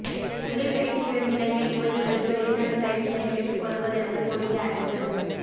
தொழிற்பயிற்சி பெறும் இளைஞர் யுவதிகளுக்கு வெளிநாட்டுப் பயிற்சியினைப் பெற்றுக் கொடுப்பதற்கு கொரிய அரசு